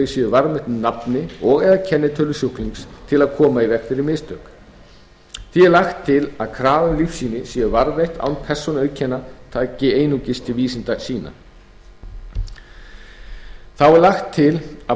séu varðveitt með nafni og eða kennitölu sjúklings til að koma í veg fyrir mistök því er lagt til að krafa um að lífsýni séu varðveitt án persónuauðkenna taki einungis til vísindasýna þá er lagt til að